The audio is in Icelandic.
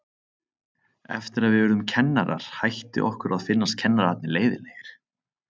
Eftir að við urðum kennarar hætti okkur að finnast kennararnir leiðinlegir.